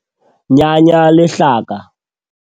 Nyanya lehlaka.